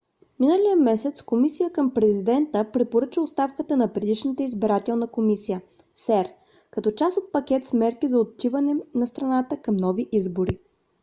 миналия месец комисия към президента препоръча оставката на предишната избирателна комисия cep като част от пакет с мерки за отиване на страната към нови избори